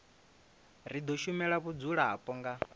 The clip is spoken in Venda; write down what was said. ri do shumela vhadzulapo nga